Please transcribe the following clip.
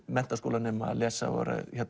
menntaskólanema lesa og